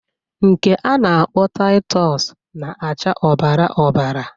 Nke a na-akpọ Taịtọs na-acha ọbara ọbara.